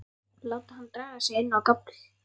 Láta hana draga sig inn á gafl til sín.